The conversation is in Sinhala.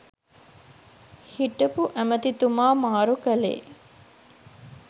හිටපු ඇමැතිතුමා මාරු කළේ